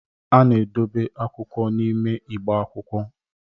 a na-edobe akwụkwọ n'ime igbe akwụkwọ